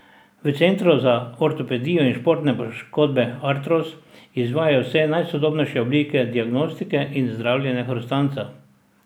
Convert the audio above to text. V Centru za ortopedijo in športne poškodbe Artros izvajajo vse najsodobnejše oblike diagnostike in zdravljenja hrustanca.